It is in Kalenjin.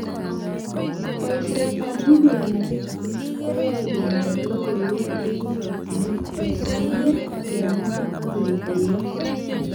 Boishetab Google Analytics koyoee kenyor logoiwek eng chochinet, kesoman, kemwoi ak kekuyoo